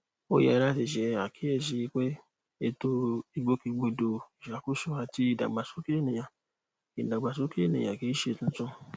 ó yẹ láti ṣe àkíyèsíi wípé ètò ìgbòkègbodò ìṣàkóso àti ìdàgbàsókè ẹnìyàn ìdàgbàsókè ẹnìyàn kìí ṣe tuntun